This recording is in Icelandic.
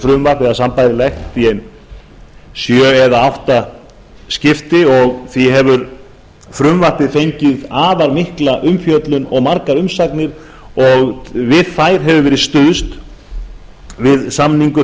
frumvarp eða sambærilegt í ein sjö eða átta skipti og því hefur frumvarpið fengið afar mikla umfjöllun og margar umsagnir og við þær hefur verið stuðst við